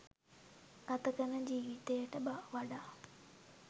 ගත කරන ජීවිතයට වඩා